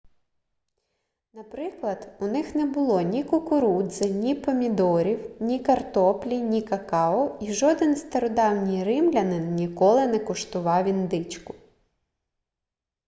наприклад у них не було ні кукурудзи ні помідорів ні картоплі ні какао і жоден стародавній римлянин ніколи не куштував індичку